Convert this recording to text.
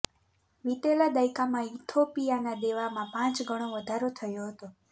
વીતેલા દાયકામાં ઇથોપિયાનાં દેવાંમાં પાંચ ગણો વધારો થયો હતો